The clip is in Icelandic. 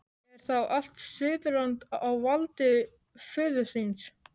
Er þá allt Suðurland á valdi föður þíns?